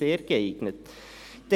«sehr geeignet».